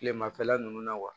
Kilemafɛla nunnu na wa